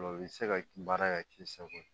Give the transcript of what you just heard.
O la u bi se ka baara ka k'i sago ye